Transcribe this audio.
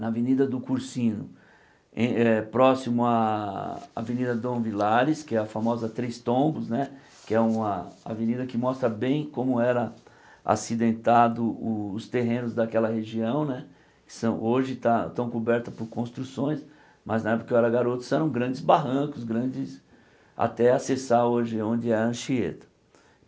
na Avenida do Cursino, em eh próximo à Avenida Dom Vilares, que é a famosa Três Tombos né, que é uma avenida que mostra bem como era acidentado os terrenos daquela região né, são hoje tá estão cobertos por construções, mas na época em que eu era garoto eram grandes barrancos, grandes, até acessar hoje onde é a Anchieta.